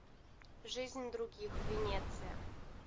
жизнь других венеция